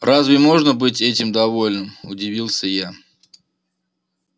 разве можно быть этим довольным удивился я